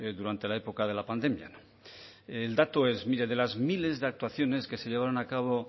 durante la época de la pandemia el dato es mire de las miles de actuaciones que se llevaron a cabo